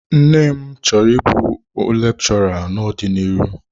Nne m chọrọ ịbụ lekchọra n'ọdiniru.